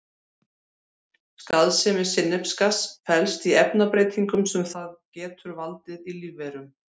Skaðsemi sinnepsgass felst í efnabreytingum sem það getur valdið í lífverum.